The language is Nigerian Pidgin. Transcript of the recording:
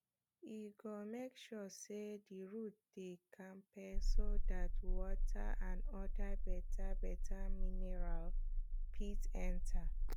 e go make sure say the roots dey kampe so dat water and other betabeta mineral fit enta